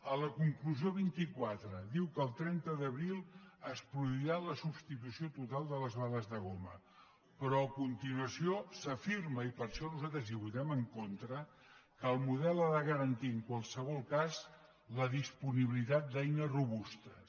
a la conclusió vint quatre diu que el trenta d’abril es produirà la substitució total de les bales de goma però a continuació s’afirma i per això nosaltres hi votem en contra que el model ha de garantir en qualsevol cas la disponibilitat d’eines robustes